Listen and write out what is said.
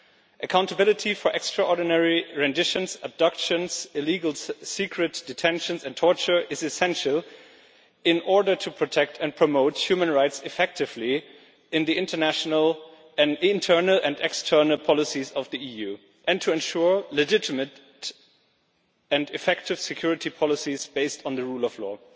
Accountability for extraordinary renditions, abductions, illegal secret detentions and torture is essential in order to protect and promote human rights effectively in the international, internal and external policies of the EU and to ensure legitimate and effective security policies based on the rule of law.